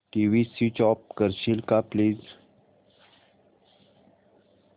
TV switch off करशील का please